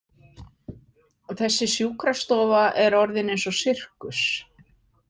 Þessi sjúkrastofa er orðinn eins og sirkus.